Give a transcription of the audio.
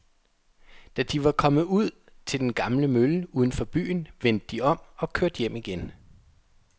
Da de var kommet ud til den gamle mølle uden for byen, vendte de om og kørte hjem igen.